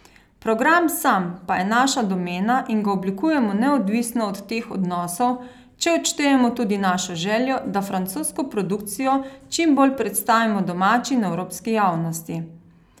Program sam pa je naša domena in ga oblikujemo neodvisno od teh odnosov, če odštejemo tudi našo željo, da francosko produkcijo čim bolj predstavimo domači in evropski javnosti.